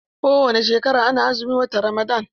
Kowani shekara ana azumin watan Ramadan.